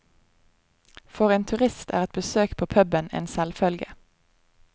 For en turist er et besøk på puben er selvfølge.